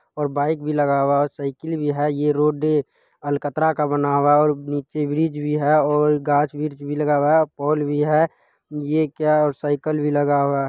और बाइक भी लगा हुआ है और साइकिल भी है ये रोड अलकतरा का बना हुआ है और नीचे ब्रिज भी है और गाछ-वृछ भी लगा हुआ है पोल भी है ये क्या और साइकिल भी लगा हुआ --